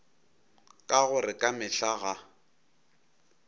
ka gore ka mehla ga